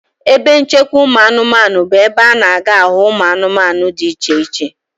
Ebe nchekwa ụmụanụmanụ bụ ebe a na-aga ahụ ụmụanụmanụ dị iche iche.